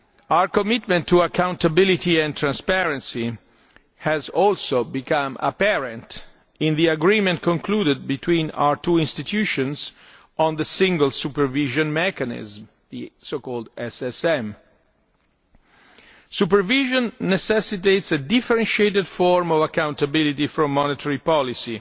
Our commitment to accountability and transparency has also become apparent in the agreement concluded between our two institutions on the Single Supervision Mechanism, the so called SSM. Supervision necessitates a differentiated form of accountability from monetary policy,